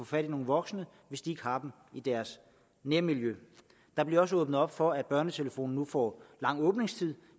fat i nogle voksne hvis de har dem i deres nærmiljø der bliver også åbnet op for at børnetelefonen nu får lang åbningstid